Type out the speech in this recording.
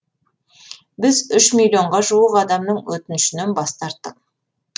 біз үш миллионға жуық адамның өтінішінен бас тарттық